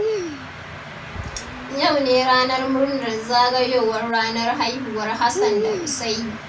Yau ne ranar murnar zagayowar ranar haihuwar Hassan da Usaini.